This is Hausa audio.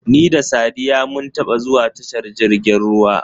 Ni da Saddiya mun taba zuwa tashar jirgin ruwa.